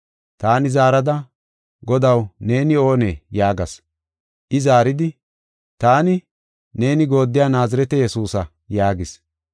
Taani zaarada, ‘Godaw, neeni oonee?’ yaagas. I zaaridi, ‘Taani, neeni gooddiya Naazirete Yesuusa’ yaagis.